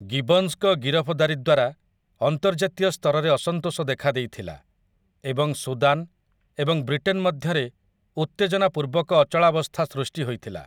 ଗିବନ୍ସଙ୍କ ଗିରଫଦାରୀ ଦ୍ୱାରା ଅନ୍ତର୍ଜାତୀୟ ସ୍ତରରେ ଅସନ୍ତୋଷ ଦେଖାଦେଇଥିଲା ଏବଂ ସୁଦାନ୍ ଏବଂ ବ୍ରିଟେନ୍ ମଧ୍ୟରେ ଉତ୍ତେଜନାପୂର୍ବକ ଅଚଳାବସ୍ଥା ସୃଷ୍ଟି ହୋଇଥିଲା ।